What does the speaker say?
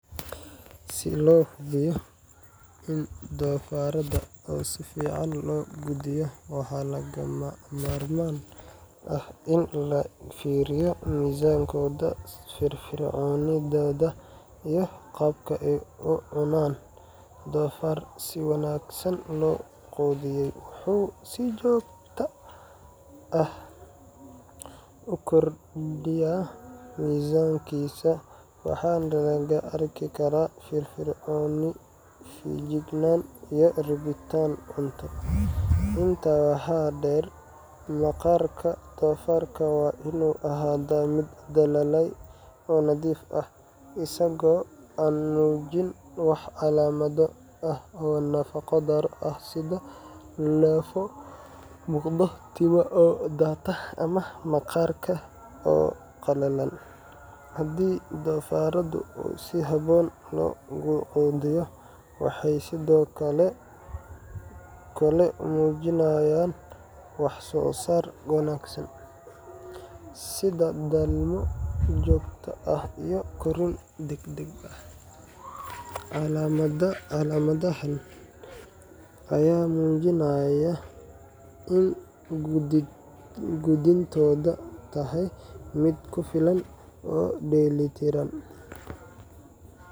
Si loo hubiyo in doofaraada si fiican loo quudiyo, waxaa lagama maarmaan ah in la fiiriyo miisaankooda, firfircoonidooda, iyo qaabka ay u cunaan. Doofaar si wanaagsan loo quudiyay wuxuu si joogto ah u kordhiyaa miisaankiisa, waxaana laga arki karaa firfircooni, feejignaan, iyo rabitaan cunto. Intaa waxaa dheer, maqaarka doofaarka waa inuu ahaadaa mid dhalaalaya oo nadiif ah, isagoo aan muujin wax calaamado ah oo nafaqo-darro ah sida lafo muuqda, timaha oo daata, ama maqaarka oo qallalan. Haddii doofaaradu si habboon loo quudiyo, waxay sidoo kale muujinayaan wax-soo-saar wanaagsan, sida dhalmo joogto ah iyo korriin degdeg ah. Calaamadahan ayaa muujinaya in quudintoodu tahay mid ku filan oo dheelitiran.